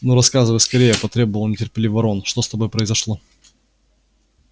ну рассказывай скорее потребовал нетерпеливо рон что с тобой произошло